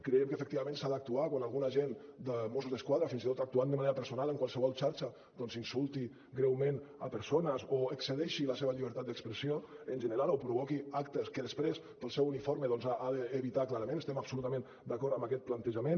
creiem que efectivament s’ha d’actuar quan algun agent de mossos d’esquadra fins i tot actuant de manera personal en qualsevol xarxa doncs insulti greument persones o excedeixi la seva llibertat d’expressió en general o provoqui actes que després pel seu uniforme ha d’evitar clarament estem absolutament d’acord amb aquest plantejament